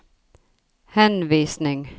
henvisning